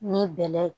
Ni bɛlɛ ye